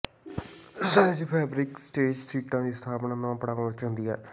ਸਹਿਜ ਫੈਬਰਿਕ ਸਟੈਚ ਸੀਟਾਂ ਦੀ ਸਥਾਪਨਾ ਦੋ ਪੜਾਵਾਂ ਵਿਚ ਹੁੰਦੀ ਹੈ